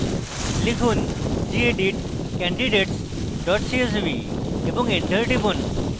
লিখুন: gedit candidates csv এবং enter টিপুন